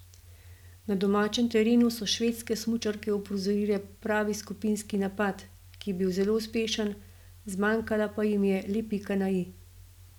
Na domačem terenu so švedske smučarke uprizorile pravi skupinski napad, ki je bil zelo uspešen, zmanjkala pa jim je le pika na i.